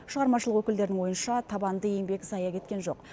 шығармашылық өкілдерінің ойынша табанды еңбек зая кеткен жоқ